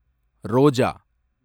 ரோஜா